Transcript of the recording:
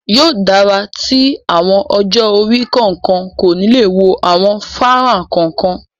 Yóò dára tí àwọn ọjọ́-orí kọ̀ọ̀kan kò ni le wo àwọn fánrán kọ̀ọ̀kan.